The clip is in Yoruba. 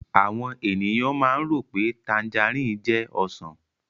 Àwọn èèyàn máa ń rò pé tanjarìn jẹ́ Ọsàn